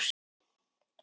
Þú varst mín hetja.